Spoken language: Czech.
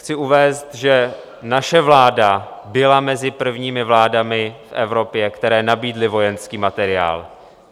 Chci uvést, že naše vláda byla mezi prvními vládami v Evropě, které nabídly vojenský materiál.